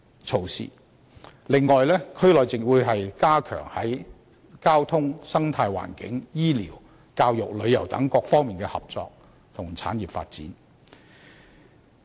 此外，區內還會加強在交通、生態環境、醫療、教育、旅遊等各方面的合作和產業發展。